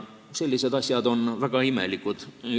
Sellised asjad on väga imelikud.